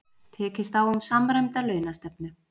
Tekist á um samræmda launastefnu